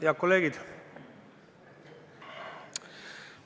Head kolleegid!